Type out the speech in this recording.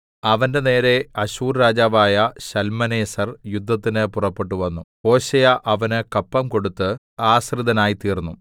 അവന്റെനേരെ അശ്ശൂർ രാജാവായ ശൽമനേസെർ യുദ്ധത്തിന് പുറപ്പെട്ടുവന്നു ഹോശേയ അവന് കപ്പം കൊടുത്ത് ആശ്രിതനായിത്തീർന്നു